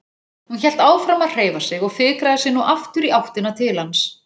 Hún hélt áfram að hreyfa sig og fikraði sig nú aftur í áttina til hans.